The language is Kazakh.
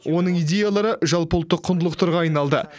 оның идеялары жалпыұлттық құндылықтарға айналды